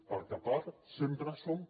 perquè a part sempre som